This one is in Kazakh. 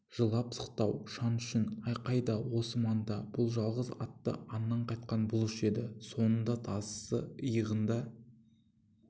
жылап-сықтау шаң-шүң айқай да осы манда бұл жалғыз атты аңнан қайтқан бұлыш еді соңында тазысы иығында